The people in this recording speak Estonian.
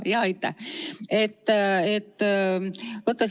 Aitäh!